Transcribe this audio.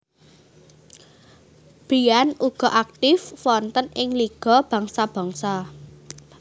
Briand uga aktif wonten ing Liga Bangsa Bangsa